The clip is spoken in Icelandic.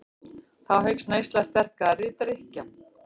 Þá eykst neysla sterkari drykkja.